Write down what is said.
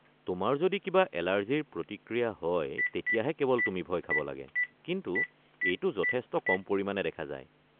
তোমাৰ যদি কিবা এলাৰ্জিৰ প্ৰতিক্ৰিয়া হয় তেতিয়াহে কেৱল তুমি ভয় খাব লাগে, কিন্তু এইটো যথেষ্ট কম পৰিমাণে দেখা যায়।